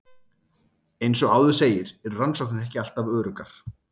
Eins og áður segir eru rannsóknir ekki alltaf öruggar.